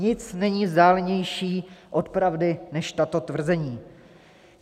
Nic není vzdálenější od pravdy než tato tvrzení.